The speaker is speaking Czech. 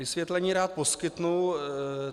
Vysvětlení rád poskytnu.